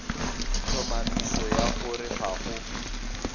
tlhomamiso ya gore ga go